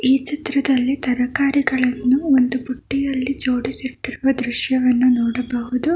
ಈ ಚಿತ್ರದಲ್ಲಿ ತರಕಾರಿಗಳನ್ನು ಒಂದು ಬುಟ್ಟಿಯಲ್ಲಿ ಜೋಡಿಸಿಟ್ಟಿರುವ ದೃಶ್ಯವನ್ನು ನೋಡಬಹುದು.